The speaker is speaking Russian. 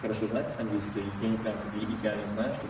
хорошо знать английский они прямо идеально значу